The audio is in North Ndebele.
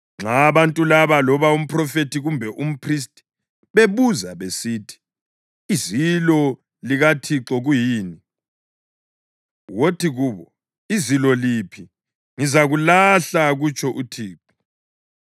“Nxa abantu laba, loba umphrofethi kumbe umphristi, bebuza besithi, ‘Izilo likaThixo kuyini?’ wothi kubo, ‘Izilo liphi? Ngizakulahla, kutsho uThixo.’